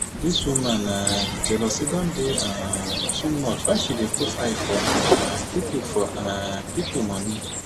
dis woman um jealousy don dey um too much why she dey put eye for um pipu for um pipu moni?